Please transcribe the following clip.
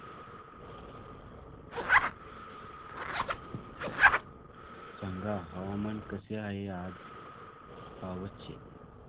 सांगा हवामान कसे आहे आज पावस चे